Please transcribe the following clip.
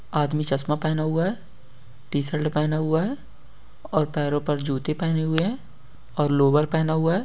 आदमी चश्मा पहना हुआ हैं। टी शर्ट पहना हुआ हैं। और पेरो पर जूते पहने हुए हैं। और लोवर पहने हुए हैं।